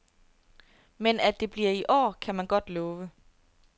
Men at det bliver i år, kan man godt love.